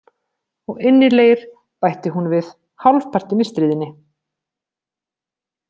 Og innilegir, bætti hún við, hálfpartinn í stríðni.